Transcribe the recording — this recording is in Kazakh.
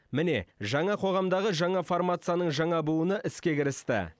міне жаңа қоғамдағы жаңа формацияның жаңа буыны іске кірісті